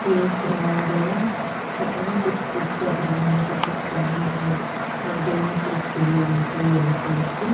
ये एक ग्राउंड है पता नहीं किस चीज़ का ग्राउंड है पर कुछ ग्राउंड है और बेंच रखी हुई है यहाँ पर यलो कलर की--